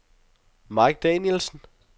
Mike Danielsen